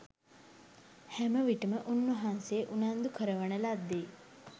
හැමවිටම උන්වහන්සේ උනන්දු කරවන ලද්දේ